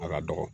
A ka dɔgɔ